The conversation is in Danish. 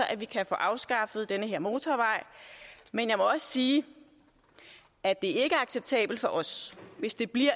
at vi kan få afskaffet den her motorvej men jeg må også sige at det ikke er acceptabelt for os hvis det bliver